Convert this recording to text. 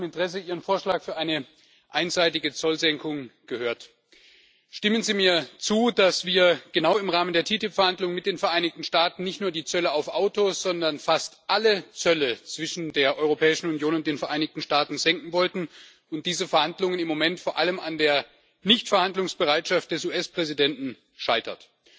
Ich habe mit großem Interesse Ihren Vorschlag für eine einseitige Zollsenkung vernommen. Stimmen Sie mir zu, dass wir genau im Rahmen der TTIP Verhandlungen mit den Vereinigten Staaten nicht nur die Zölle auf Autos, sondern fast alle Zölle zwischen der Europäischen Union und den Vereinigten Staaten senken wollten, und diese Verhandlungen im Moment vor allem an der fehlenden Verhandlungsbereitschaft des US Präsidenten scheitern?